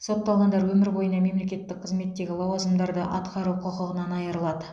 сотталғандар өмір бойына мемлекеттік қызметтегі лауазымдарды атқару құқығынан айырылады